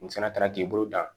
N fana taara k'i bolo dan